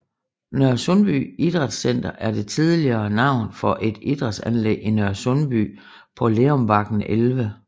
Nørresundby Idrætcenter er det tidligere navn for et idrætsanlæg i Nørresundby på Lerumbakken 11